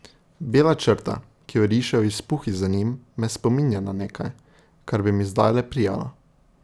Bela črta, ki jo rišejo izpuhi za njim, me spominja na nekaj, kar bi mi zdajle prijalo.